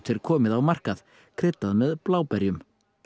er komið á markað kryddað með bláberjum